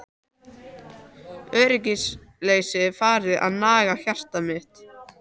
Öryggisleysið farið að naga hjarta mitt.